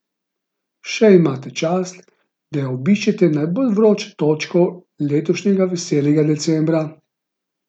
Še imate čas, da obiščete najbolj vročo točko letošnjega veselega decembra!